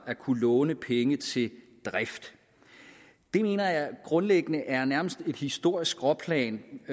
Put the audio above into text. at kunne låne penge til drift jeg mener grundlæggende er et nærmest historisk skråplan